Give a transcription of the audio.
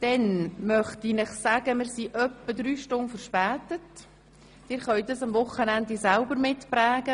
Dann möchte ich Sie darauf hinweisen, dass wir etwa drei Stunden im Rück stand sind.